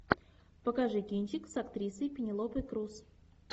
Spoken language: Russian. покажи кинчик с актрисой пенелопой крус